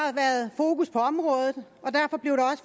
har været fokus på området